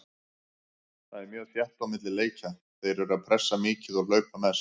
Það er mjög þétt á milli leikja, þeir eru pressa mikið og hlaupa mest.